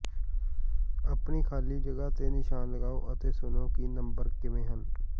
ਆਪਣੀ ਖਾਲੀ ਜਗ੍ਹਾ ਤੇ ਨਿਸ਼ਾਨ ਲਗਾਓ ਅਤੇ ਸੁਣੋ ਕਿ ਨੰਬਰ ਕਿਵੇਂ ਹਨ